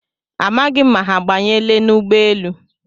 Amaghị m ma ha abanyela n'ụgbọelu